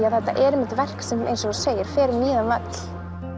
að þetta er einmitt verk sem eins og þú segir fer um víðan völl